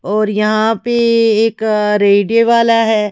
और यहाँ पे एक अअ रेडियो वाला है।